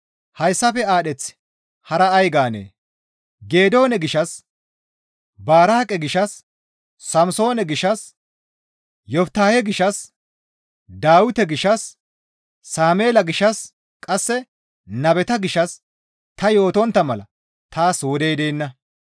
Hayssafe aadheth hara ay gaanee? Geedoone gishshas, Baraaqe gishshas, Samsoone gishshas, Yoftahe gishshas, Dawite gishshas, Sameela gishshas qasse nabeta gishshas ta yootontta mala taas wodey deenna.